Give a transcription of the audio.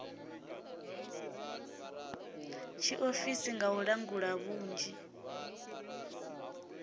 tshiofisi nga u langula vhunzhi